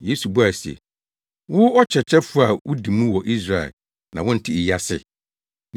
Yesu buaa no se, “Wo, ɔkyerɛkyerɛfo a wudi mu wɔ Israel na wonte eyi ase?